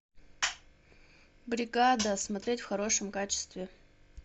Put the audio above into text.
бригада смотреть в хорошем качестве